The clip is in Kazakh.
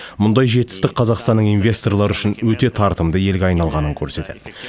мұндай жетістік қазақстанның инвесторлар үшін өте тартымды елге айналғанын көрсетеді